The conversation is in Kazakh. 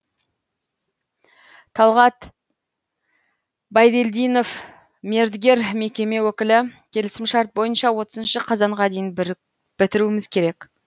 талғат байдельдинов мердігер мекеме өкілі келісімшарт бойынша отызынышы қазанға дейін бітіруіміз керек